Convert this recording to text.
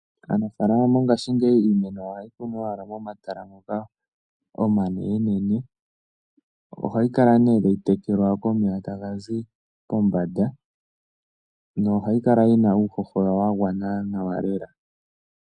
Aanafalama mongashingeyi iimeno yawo ohaayi kuna owala momatala moka omanene nene. Ohayi kala nee tayi tekelwa komeya taga zi pombanda. Nohayi kala yina uuhoho wa gwana nawa lela.